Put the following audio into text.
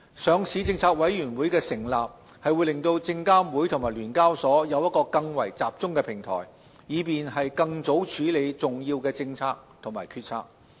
上市政策委員會的成立讓證監會及聯交所有一個更為集中的平台，以便更早處理重要的政策及決策。